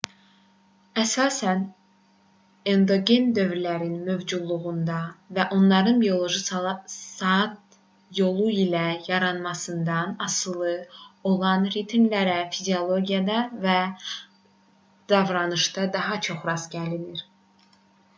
əsasən endogen dövrlərin mövcudluğundan və onların bioloji saat yolu ilə yaranmasından asılı olan ritmlərə fiziologiyada və davranışda daha çox rast gəlinir